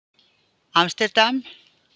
Amsterdam